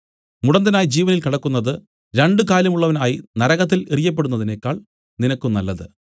മുടന്തനായി ജീവനിൽ കടക്കുന്നത് രണ്ടു കാലുമുള്ളവൻ ആയി നരകത്തിൽ എറിയപ്പെടുന്നതിനേക്കാൾ നിനക്ക് നല്ലത്